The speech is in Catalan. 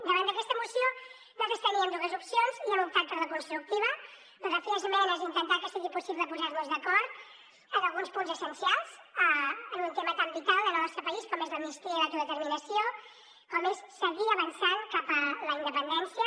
davant d’aquesta moció nosaltres teníem dues opcions i hem optat per la constructiva la de fer esmenes i intentar que sigui possible posar nos d’acord en alguns punts essencials en un tema tan vital en el nostre país com és l’amnistia i l’autodeterminació com és seguir avançant cap a la independència